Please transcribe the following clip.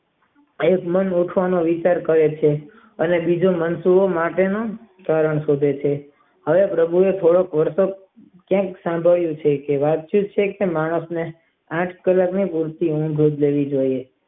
આજ ના ડોફા નો વિચાર કરે છે અને બીજે મરચીઓ માટે નું કારણ પૂછે છે હવે પ્રભુ ઓ કાયક સંભળાયું છે કે સાત કલાક ની સરખી ઊંઘ લેવી જોઈએ.